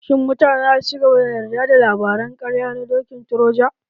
Shin mutane zasu cigaba da yarda da labaran ƙarya na dokin troja?